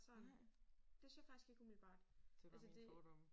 Nej. Det bare mine fordomme